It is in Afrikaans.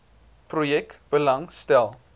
projek belang stel